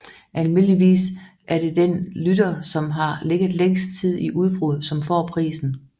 Almindeligvis er det den rytter som har ligget længst tid i udbrud som får prisen